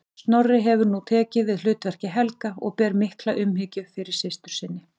Snorri hefur nú tekið við hlutverki Helga og ber mikla umhyggju fyrir systur sinni.